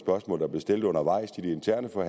og